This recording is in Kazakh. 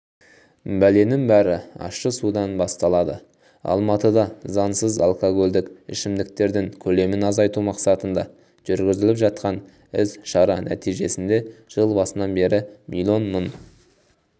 бәленің бәрі ащы судан басталады алматыда заңсыз алкогольдік ішімдіктердің көлемін азайту мақсатында жүргізіліп жатқан іс-шара нәтижесінде жыл басынан бері миллион мың